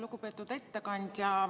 Lugupeetud ettekandja!